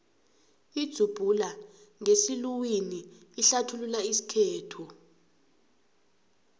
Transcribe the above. idzubhula ngesiluwini ihlathulula isikhethu